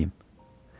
Bəs mən nəyim?